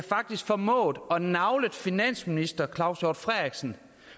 formået af nagle finansminister claus hjort frederiksen